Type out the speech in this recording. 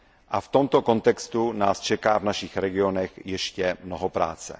A v tomto kontextu nás čeká v našich regionech ještě mnoho práce.